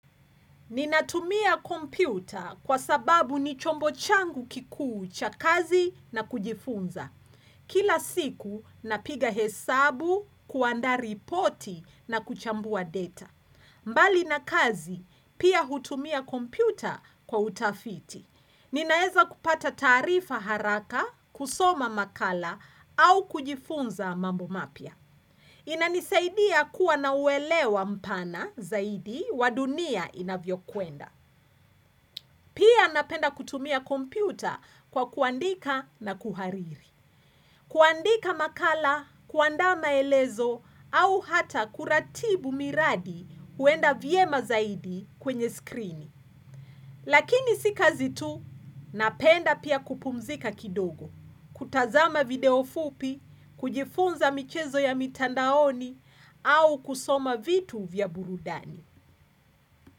Ninatumia kompyuta kwa sababu ni chombo changu kikuu cha kazi na kujifunza. Kila siku napiga hesabu, kuandaa ripoti na kuchambua data. Mbali na kazi, pia hutumia kompyuta kwa utafiti. Ninaeza kupata tarifa haraka, kusoma makala, au kujifunza mambo mapya. Inanisaidia kuwa na uelewa mpana zaidi wa dunia inavyokwenda. Pia napenda kutumia kompyuta kwa kuandika na kuhariri. Kuandika makala, kuandaa maelezo au hata kuratibu miradi kuenda vyema zaidi kwenye skrini. Lakini si kazi tu, napenda pia kupumzika kidogo, kutazama video fupi, kujifunza michezo ya mitandaoni, au kusoma vitu vya burudani.